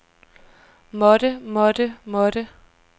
måtte måtte måtte